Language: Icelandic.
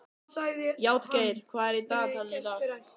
Játgeir, hvað er í dagatalinu í dag?